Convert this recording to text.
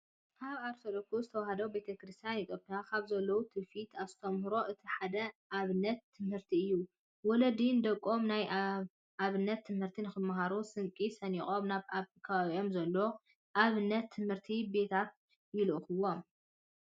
ኣብ ኦርቶዶክስ ተዋህዶ ቤተክርስቲያን ኢትዮጵያ ካብ ዘለው ትውፊታትን ኣስተምህሮታትን እቲ ሓደ ኣብነት ትምህርቲ እዩ። ወለዲ ንደቆም ናይ ኣብነት ትምህርቲ ንክመሃሩ ስንቂ ሰንቆም ናብ ኣብ ከባቢኦም ዘለው ኣብነት ትምህርቲ ቤታታት ይልእኽዎም።